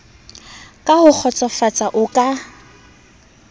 ka ho kgotsofatsa o ka